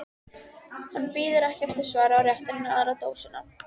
Hann bíður ekki eftir svari og réttir henni aðra dósina.